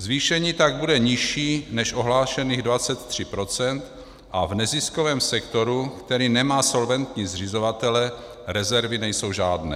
Zvýšení tak bude nižší než ohlášených 23 % a v neziskovém sektoru, který nemá solventní zřizovatele, rezervy nejsou žádné.